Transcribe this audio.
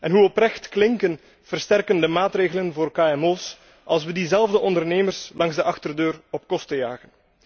En hoe oprecht klinken versterkende maatregelen voor kmo's, als we diezelfde ondernemers langs de achterdeur op kosten jagen?